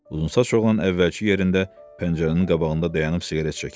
Uzunsaç oğlan əvvəlki yerində pəncərənin qabağında dayanıb siqaret çəkirdi.